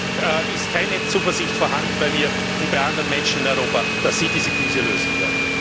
Daher ist keine Zuversicht vorhanden bei mir und bei anderen Menschen in Europa, dass Sie diese Krise lösen werden.